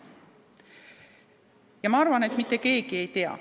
Ma arvan, et mitte keegi ei tea.